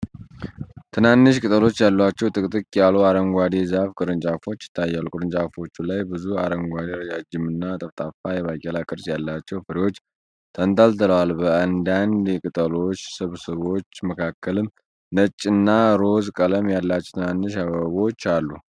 ትናንሽ ቅጠሎች ያሏቸው ጥቅጥቅ ያሉ አረንጓዴ የዛፍ ቅርንጫፎች ይታያሉ። ቅርንጫፎቹ ላይ ብዙ አረንጓዴ፣ ረጅም እና ጠፍጣፋ የባቄላ ቅርጽ ያላቸው ፍሬዎች ተንጠልጥለዋል። በአንዳንድ የቅጠሎች ስብስቦች መካከልም ነጭና ሮዝ ቀለም ያላቸው ትናንሽ አበቦች አሉ።